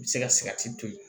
U bɛ se ka to yen